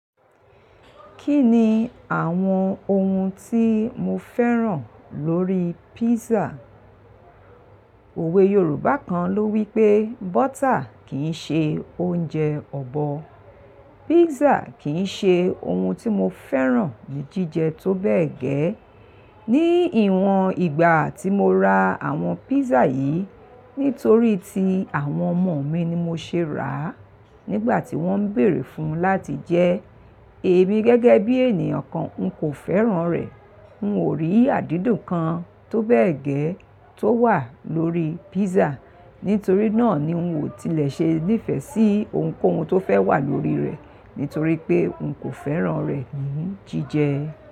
Kí ni àwọn ohun tí mo fẹ́ràn lórí pízà? Òwe Yorùbá kan ló wípé "butter kì í ṣe oúnjẹ ọ̀bọ". Pizza kì í ṣe ohun tí mo fẹ́ràn ní jíjẹ tó bẹ́ẹ̀ gẹ́. Ní ìwọ̀n ìgbà tí mo ra àwọn pizza yìí, nítorí tí àwọn ọmọ mi ni mo ṣe ràá nígbà tí wọ́n ń bèèrè fún láti jẹe, èmi gẹ́gẹ́ bí ènìyàn kan n kò fẹ́ràn rẹ̀. N ò rí àdídùn kan tó bẹ́ẹ̀ gẹ́ tó wà lórí písà, nítorí náà ni n ò tilẹ̀ ṣe nìfẹ́ sí ohunkóhun tó fẹ́ wà lórí rẹ̀, nítorí pé n kò fẹ́ràn rẹ̀ ní jíjẹ.